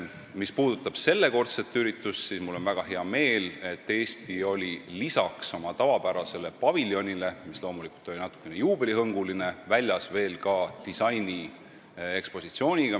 Mis puudutab sellekordset üritust, siis mul on väga hea meel, et peale meie tavapärase paviljoni, mis oli loomulikult natukene juubelihõnguline, olime väljas ka disainiekspositsiooniga.